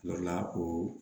O la o